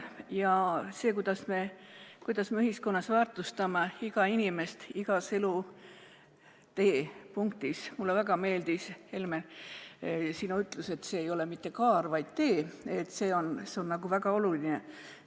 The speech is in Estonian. Ja see, kuidas me ühiskonnas väärtustame iga inimest igas elutee punktis – mulle väga meeldis, Helmen, sinu ütlus, et see ei ole mitte kaar, vaid tee –, see on väga oluline.